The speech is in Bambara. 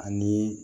Ani